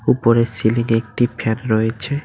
উপরে সিলিং -এ একটি ফ্যান রয়েছে।